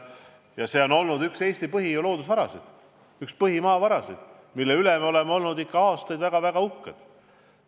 Põlevkvi on olnud üks Eesti põhiloodusvarasid, üks meie põhimaavarasid, mille üle me oleme aastaid väga-väga uhked olnud.